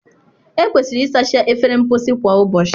Ekwesịrị ịsacha efere mposi kwa ụbọchị.